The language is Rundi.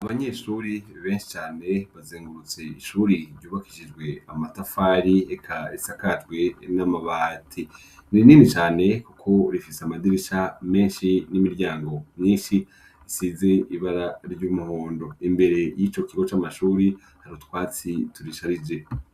Abanyeshuri benshi cane bazengurutse ishuri ryubakishijwe amatafari eka isakajwe n'amabati nirinini cane kuko rifise amadirisha menshi n'imiryango myinshi isize ibara ry'umuhondo imbere y'ico kigo c'amashuri hari utwatsi turisharije.